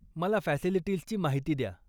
मला फॅसिलिटीजची माहिती द्या.